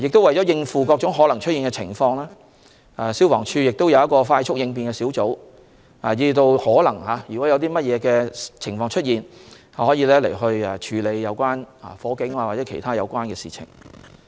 為應付各種可能出現的情況，消防處會有一個快速應變小組，若有任何情況出現，他們能處理火警或其他有關事情。